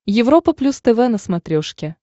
европа плюс тв на смотрешке